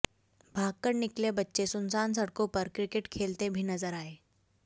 भागकर निकले बच्चे सुनसान सड़कों पर क्रिकेट खेलते भी नजर आये